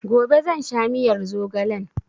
Gobe zan sha miyar zogalen